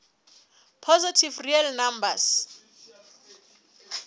positive real numbers